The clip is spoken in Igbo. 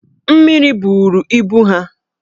Mmiri buru ibu ha